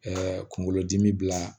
kunkolodimi bila